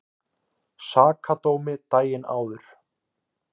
Sakadómi daginn áður.